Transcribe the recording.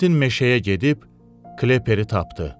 Kventin meşəyə gedib Klepperi tapdı.